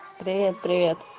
привет привет